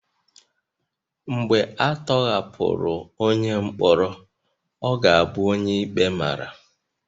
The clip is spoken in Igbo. Mgbe a tọhapụrụ onye mkpọrọ, ọ ga-abụ onye ikpe mara